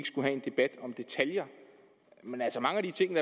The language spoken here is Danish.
have en debat om detaljer altså mange af de ting